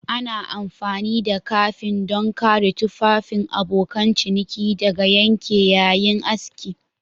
Ana amfani da kafi don kare tufafin abokan ciniki daga yanke yayin aski